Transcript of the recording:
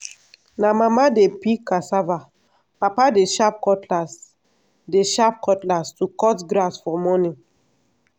na mama dey peel cassava papa dey sharp cutlass dey sharp cutlass to cut grass for morning.